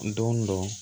Don dɔ